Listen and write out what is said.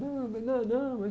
Não, mas não, não.